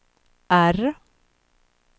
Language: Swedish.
R